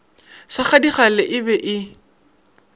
sa gadikgale e be e